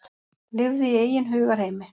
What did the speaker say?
Lifði í eigin hugarheimi.